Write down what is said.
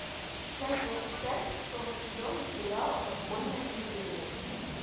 часть двадцать пять шестого сезона сериала подпольная империя